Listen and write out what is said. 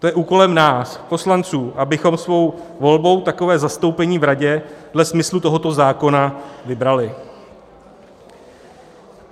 To je úkolem nás poslanců, abychom svou volbou takové zastoupení v radě dle smyslu tohoto zákona vybrali.